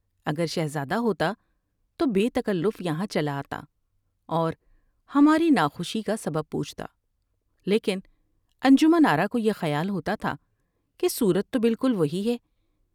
اگر شہزادہ ہوتا تو بے تکلف یہاں چلا آتا اور ہماری نا خوشی کا سبب پوچھتا لیکن انجمن آرا کو یہ خیال ہوتا تھا کہ صورت تو بالکل وہی ہے ۔